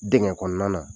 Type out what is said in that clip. Dingɛ kɔnɔna na